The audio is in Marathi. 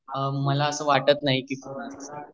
मलास अस वाटत नाही कोणी असेल